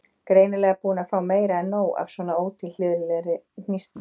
Greinilega búin að fá meira en nóg af svona ótilhlýðilegri hnýsni.